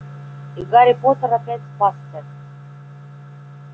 и гарри поттер опять спасся